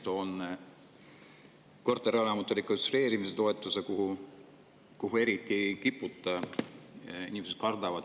Toon näiteks korterelamute rekonstrueerimise toetuse, mida eriti ei kiputa kasutama: inimesed kardavad.